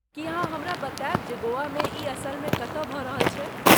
की अहाँ हमरा बताएब जे गोवामे ई असलमे कतऽ भऽ रहल छै?